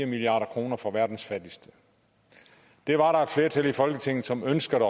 milliard kroner fra verdens fattigste det var der et flertal i folketinget som ønskede at